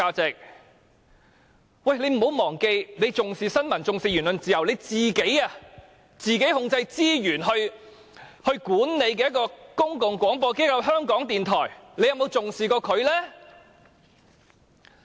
請她不要忘記，她說重視新聞和言論自由，但由她自己控制資源來管理的公共廣播機構——港台，她又曾否重視呢？